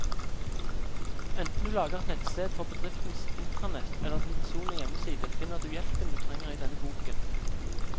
Enten du lager et nettsted for bedriftens intranett eller din personlige hjemmeside, finner du hjelpen du trenger i denne boken.